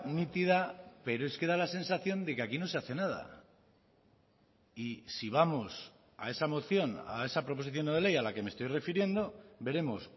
nítida pero es que da la sensación de que aquí no se hace nada y si vamos a esa moción a esa proposición no de ley a la que me estoy refiriendo veremos